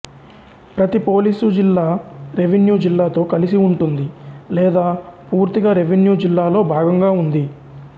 ప్రతి పోలీసు జిల్లా రెవెన్యూ జిల్లాతో కలిసి ఉంటుంది లేదా పూర్తిగా రెవెన్యూ జిల్లాలో భాగంగా ఉంది